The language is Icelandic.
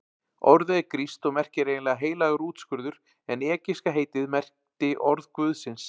Orðið er grískt og merkir eiginlega heilagur útskurður en egypska heitið merkti orð guðsins.